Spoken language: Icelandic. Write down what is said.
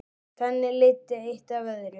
Þannig leiddi eitt af öðru.